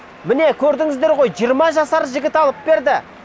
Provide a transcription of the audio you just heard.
міне көрдіңіздер ғой жиырма жасар жігіт алып берді